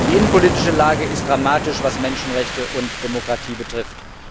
Die innenpolitische Lage ist dramatisch, was Menschenrechte und Demokratie betrifft.